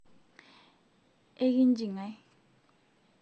ekinji ngae?